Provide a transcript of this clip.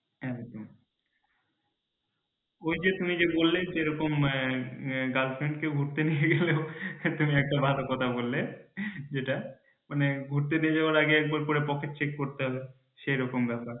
একদম ওই যে তুমি যে বললে এরকম girlfriend কে ঘুরতে নিয়ে গেলেও এই তুমি একটা ভালো কথা বললে যেটা মানে ঘুরতে নিয়ে যাওয়ার আগে একবার করে pocket check করতে হবেসেরকম ব্যাপার।